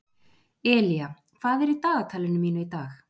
Elía, hvað er í dagatalinu mínu í dag?